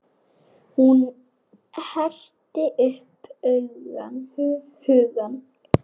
Hún herti upp hugann.